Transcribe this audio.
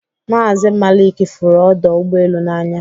Mazi Maịk fụrụ ọdọ ụgbọelu n'anya